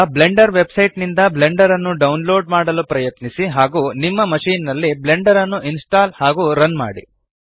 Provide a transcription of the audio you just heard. ಈಗ Blender website ನಿಂದ Blender ನ್ನು ಡೌನ್ಲೋಡ್ ಮಾಡಲು ಪ್ರಯತ್ನಿಸಿ ಹಾಗೂ ನಿಮ್ಮ ಮಶಿನ್ ನಲ್ಲಿ ಬ್ಲೆಂಡರ್ ನ್ನು ಇನ್ಸ್ಟಾಲ್ ಹಾಗೂ ರನ್ ಮಾಡಿ